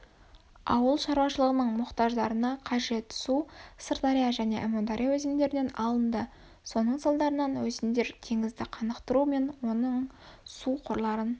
ауылшарушылығының мұқтаждарына қажет су сырдария және әмудария өзендерінен алынды соның салдарынан өзендер теңізді қанықтыру мен оның су қорларын